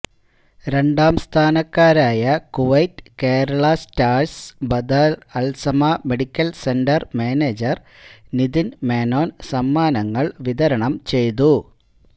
രണ്ടാംസ്ഥാനക്കാരായ Kuwait Kerala സ്റ്റാർസിന് Badr Al Samaa medical centre manager Nithin Menon സമ്മാനങ്ങൾ വിതരണം ചെയ്തു